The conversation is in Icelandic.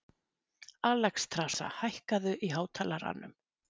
Alexstrasa, hækkaðu í hátalaranum.